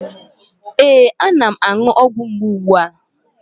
Ee, ana m aṅụ ọgwụ mgbu ugbu a.